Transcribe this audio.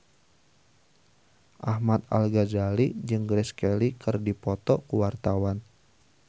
Ahmad Al-Ghazali jeung Grace Kelly keur dipoto ku wartawan